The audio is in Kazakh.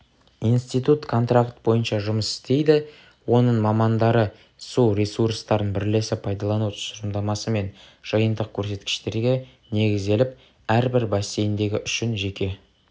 институт контракт бойынша жұмыс істейді оның мамандары су ресурстарын бірлесіп пайдалану тұжырымдамасы мен жиынтық көрсеткіштерге негізделіп әрбір бассейндегі үшін жеке